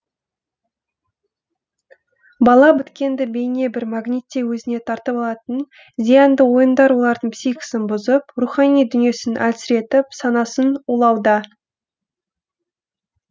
бала біткенді бейне бір магниттей өзіне тартып алатын зиянды ойындар олардың психикасын бұзып рухани дүниесін әлсіретіп санасын улауда